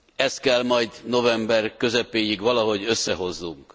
Ezt kell majd november közepéig valahogy összehoznunk.